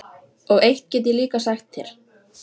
Og eitt get ég líka sagt þér